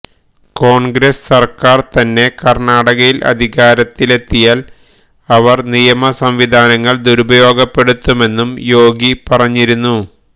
കോണ്ഗ്രസ് സര്ക്കാര് തന്നെ കര്ണാടകയില് അധികാരത്തിലെത്തിയാല് അവര് നിയമസംവിധാനങ്ങള് ദുരുപയോഗപ്പെടുത്തുമെന്നും യോഗി പറഞ്ഞിരുന്നു